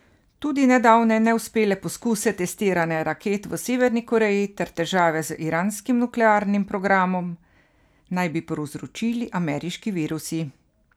Tudi nedavne neuspele poskuse testiranja raket v Severni Koreji ter težave z iranskim nuklearnim programom naj bi povzročili ameriški virusi.